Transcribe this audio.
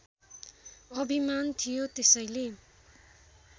अभिमान थियो त्यसैले